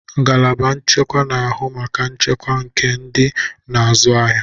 Ngalaba nchekwa na-ahụ maka nchekwa nke ndị na-azụ ahịa.